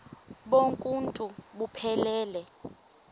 bonk uuntu buphelele